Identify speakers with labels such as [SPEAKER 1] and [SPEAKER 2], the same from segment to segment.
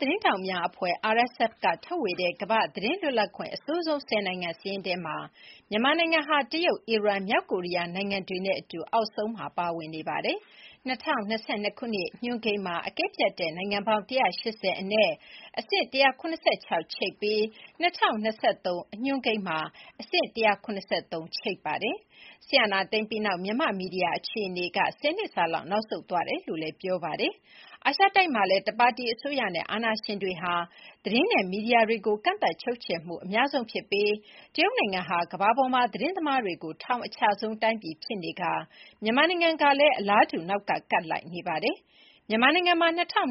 [SPEAKER 1] သတင်းထောက်များအဖွဲ့ (RSF) က ထုတ်ဝေတဲ့ ကမ္ဘာ့သတင်းလွတ်လပ်ခွင့် အဆိုးဆုံး ၁၀ နိုင်ငံ စာရင်းထဲမှာ မြန်မာနိုင်ငံဟာ တရုတ်၊ အီရန်၊ မြောက်ကိုရီးယားနိုင်ငံတွေနဲ့ အတူ အောက်ဆုံးမှာ ပါဝင်နေပါတယ်။ ၂၀၂၂ ညွန်းကိန်းမှာ အကဲဖြတ်တဲ့ နိုင်ငံပေါင်း (၁၈၀) အနက် အဆင့် ၁၇၆ ချိတ်ပြီး ၂၀၂၃ ညွန်းကိန်းမှာ အဆင့် ၁၇၃ ချိတ်ပါတယ်။ စစ်အာဏာသိမ်းပြီးနောက် မြန်မာ့မီဒီယာ အခြေအနေက ၁၀ နှစ်စာလောက် နောက်ဆုတ်သွားတယ်လို့ ဆိုပါတယ်။ အာရှတိုက်မှာလည်း တစ်ပါတီအစိုးရနဲ့ အာဏာရှင်တွေဟာ သတင်းနဲ့ မီဒီယာတွေကို ကန့်သတ်ချုပ်ချယ်မှု အများဆုံးဖြစ်ပြီး တရုတ်နိုင်ငံဟာ ကမ္ဘာပေါ်မှာ သတင်းသမားတွေကို ထောင်အချဆုံး တိုင်ပြည်ဖြစ်တဲ့အပြင် မြန်မာနိုင်ငံကလည်း အလားတူ နောက်ကကပ်လိုက်နေပါတယ်။ မြန်မာနိုင်ငံမှာ ၂၀၂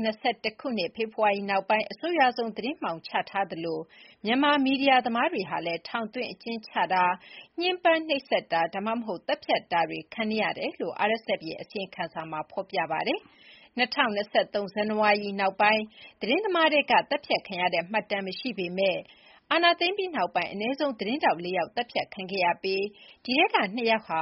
[SPEAKER 1] ၁ ဖေဖော်ဝါရီနောက်ပိုင်း အဆိုးရွားဆုံး သတင်းမှောင်ချထားသလို မြန်မာမီဒီယာသမားတွေဟာလည်း ထောင်သွင်းအကျဉ်းချတာ၊ ညှဉ်းပန်းနှိပ်စက်တာ ဒါမှမဟုတ် သတ်ဖြတ်တာတွေ ခံနေရတယ်လို့ RSF ရဲ့ အစီရင်ခံစာမှာ ဖော်ပြထားပါတယ်။ ၂၀၂၃ ဇန်နဝါရီ နောက်ပိုင်း သတင်းသမားထဲက သတ်ဖြတ်ခံရတဲ့ မှတ်တမ်းမရှိပေမယ့် အာဏာသိမ်းပြီးနောက်ပိုင်း အနည်းဆုံး သတင်းထောက် ၄ ယောက် သတ်ဖြတ်ခံခဲ့ရပြီး အဲဒီထဲက ၂ ယောက်ဟာ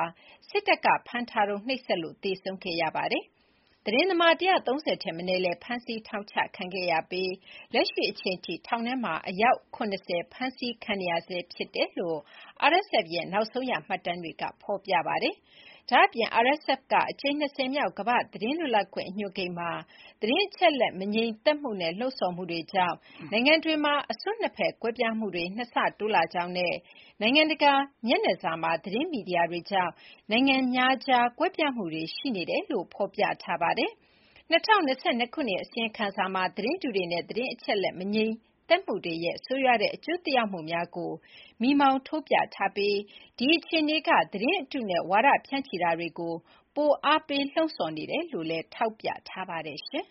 [SPEAKER 1] စစ်တပ်က ဖမ်းဆီးထားချိန်မှာ နှိပ်စက်လို့ သေဆုံးခဲ့ရပါတယ်။ သတင်းသမား ၁၃၀ ထက်မနည်းလည်း ဖမ်းဆီး ထောင်ချခံခဲ့ရပြီး လက်ရှိ အချိန်အထိ ထောင်ထဲမှာ အယောက် ၇၀ ဖမ်းဆီးခံနေရဆဲလို့ RSF ရဲ့ နောက်ဆုံးရ မှတ်တမ်းတွေမှာ ဖော်ပြပါတယ်။ ဒါ့ အပြင် RSF ရဲ့ အကြိမ် ၂၀ မြောက်ကမ္ဘာ့သတင်းလွတ်လပ်ခွင့် အညွှန်းကိန်းမှာ သတင်းအချက်အလက် မငြိမ်မသက်မှုနဲ့ လှုံ့ဆော်မှုတွေကြောင့် နိုင်ငံတွေမှာ အစွန်းနှစ်ဖက် ကွဲပြားမှုတွေက နှစ်ဆတိုးလာကြောင်းနဲ့ နိုင်ငံတကာ မျက်နှာစာမှာ သတင်းမီဒီယာတွေကြောင့် နိုင်ငံများကြား ကွဲပြားမှုတွေရှိနေတယ်လို့ ဖော်ပြထားပါတယ်။ ၂၀၂၂ အစီရင်စံမှာ သတင်းတုတွေနဲ့ သတင်းအချက်အလက် မငြိမ်မသက်မှုတွေရဲ့ ဆိုးရွားတဲ့ အကျိုးသက်ရောက်မှုတွေကို မီးမှောင်းထိုးပြထားပြီး ဒီအခြေအနေက သတင်းအတုနဲ့ ဝါဒဖြန့်ချိ တာတွေကို ပိုပြီး အားပေးလှုံ့ဆော်နေတယ်လို့ ထောက်ပြထားပါတယ်။ သတင်